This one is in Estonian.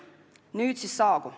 Nüüd siis saabub.